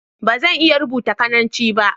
Ba zan iya rubuta Cananci ba.